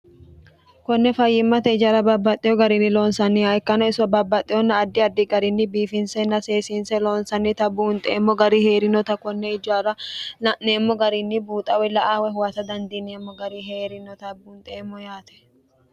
konne fayyimmate ijaara baabbaxxeyo gariinni loonsanniha ikkana iso baabbaxxeyonna addi addi garinni biifinsenna seesiinse loonsannita buunxeemmo gari heerinota konne ijaara la'neemmo garinni buuxa woy la'a woy huwata dandiineemmo gari heerinota buunxeemmo yaate.